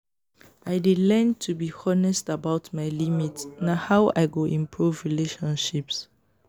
i dey learn to be honest about my limits; na how i go improve relationships.